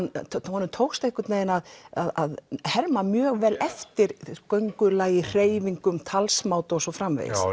honum tókst einhvern veginn að að herma mjög vel eftir göngulagi hreyfingum talsmáta og svo framvegis